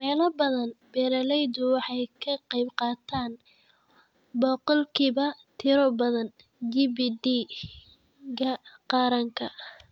Meelo badan, beeralaydu waxay ka qaybqaataan boqolkiiba tiro badan GDP-ga Qaranka.